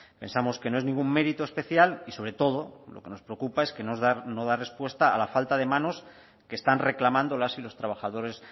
pensamos que no es ningún mérito especial y sobre todo lo que nos preocupa es que es no dar respuesta a la falta de manos que están reclamando las y los trabajadores